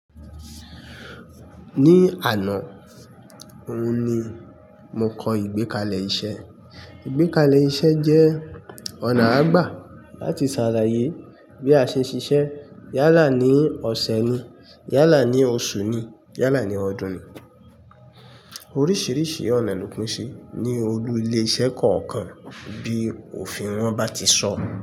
Ní àná, òun ni mo kọ ìgbékalẹ̀ iṣẹ́. Ìgbékalẹ̀ iṣẹ́ jẹ́ ọ̀nà a ń gbà láti ṣàlàyé bí a ṣe ń ṣiṣẹ́ yálà ní ọ̀sẹ̀ ni, yálà ní oṣù ni, yálà ní ọdún ni. Oríṣiríṣi ọ̀nà ló pín sí ní olú ilé iṣẹ́ kọ̀ọ̀kan bí òfin wọn bá ti sọ.